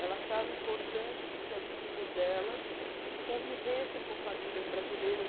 Ela achava importante que os filhos dela convivessem com famílias brasileiras.